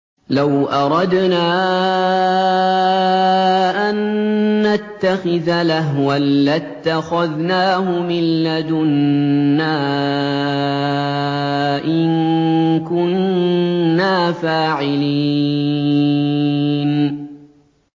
لَوْ أَرَدْنَا أَن نَّتَّخِذَ لَهْوًا لَّاتَّخَذْنَاهُ مِن لَّدُنَّا إِن كُنَّا فَاعِلِينَ